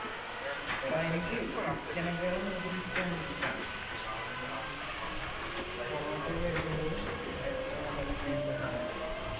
എടാ എനിക്ക് chicken നെക്കാളും കൂടുതൽ ഇഷ്ടം beef ആണ് പൊറോട്ട ഒക്കെ കഴിക്കുമ്പോൾ ഏറ്റവും നല്ലത് beef തന്നെയാണല്ലോ